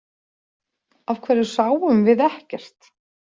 Af hverju sáum við ekkert?